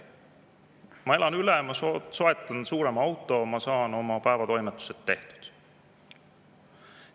Ma elan selle üle, ma soetan suurema auto, ma saan oma päevatoimetused tehtud.